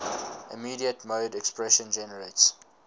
immediate mode expression generates